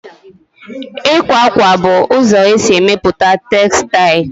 Ịkwa akwa bụ ụzọ e si emepụta textile